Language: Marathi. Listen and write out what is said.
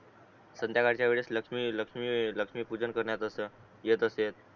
संद्याकाळचा वेळेस लक्ष्मी लक्ष्मी लक्ष्मी पूजन करण्यात असं येत असेल